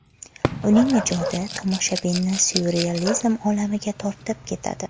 Uning ijodi tomoshabinni syurrealizm olamiga tortib ketadi.